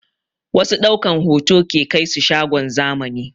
Wasu ɗaukan hoto ke kaisu shagon zamani